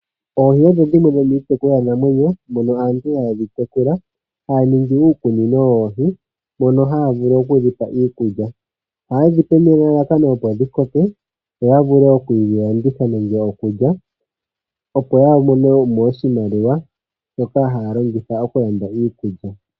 Oohi odho dhimwe dho miitekulwa namwenyo dhono aantu hayedhi tekula haa ningi uukunino woohi mono haya vulu okudhipa iikulya ohayedhi pe nelalakano opo dhi koke yo ya vule okudhilanditha opo ya monemo oshimaliwa shokulanda iikulya.